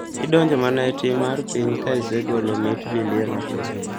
Idinjo mana e tim mar piny ka isegolo mit bilie matin.